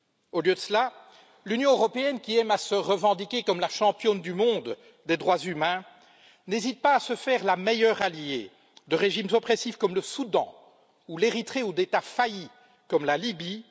Au lieu de cela, l'Union européenne, qui aime à se revendiquer comme la championne du monde des droits humains, n'hésite pas à se faire la meilleure alliée de régimes oppressifs, comme le Soudan ou l'Érythrée, ou d'États faillis, comme la Libye.